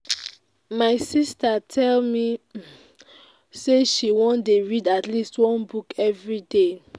my sister tell me say she wan dey read at least one book everyday